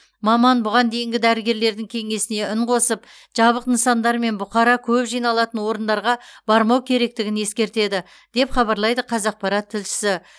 маман бұған дейінгі дәрігерлердің кеңесіне үн қосып жабық нысандар мен бұқара көп жиналатын орындарға бармау керектігін ескертеді деп хабарлайды қазақпарат тілшісі